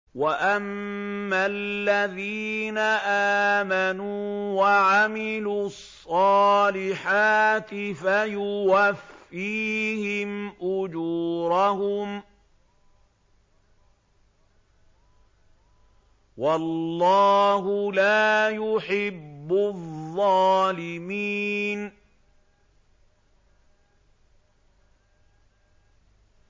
وَأَمَّا الَّذِينَ آمَنُوا وَعَمِلُوا الصَّالِحَاتِ فَيُوَفِّيهِمْ أُجُورَهُمْ ۗ وَاللَّهُ لَا يُحِبُّ الظَّالِمِينَ